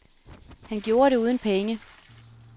Han gjorde det uden penge.